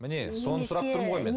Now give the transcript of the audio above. міне соны сұрап тұрмын ғой мен